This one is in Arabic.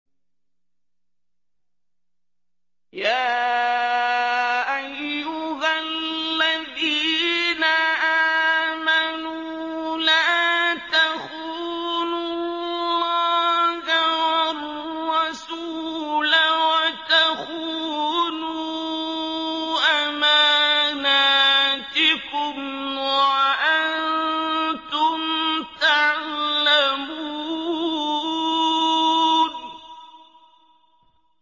يَا أَيُّهَا الَّذِينَ آمَنُوا لَا تَخُونُوا اللَّهَ وَالرَّسُولَ وَتَخُونُوا أَمَانَاتِكُمْ وَأَنتُمْ تَعْلَمُونَ